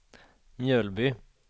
Mjölby